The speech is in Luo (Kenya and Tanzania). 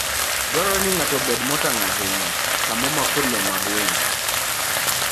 Dwarore ni ng'ato obed motang ' ahinya sama omako le mag winy.